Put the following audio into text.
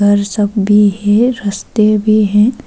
उधर सब भी है रस्ते भी है।